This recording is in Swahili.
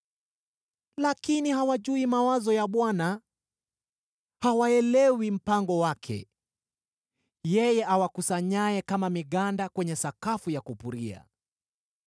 Lakini hawayajui mawazo ya Bwana ; hawauelewi mpango wake, yeye awakusanyaye kama miganda kwenye sakafu ya kupuria.